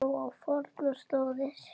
Nú á fornar slóðir.